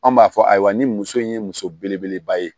An b'a fɔ ayiwa ni muso in ye muso belebeleba ye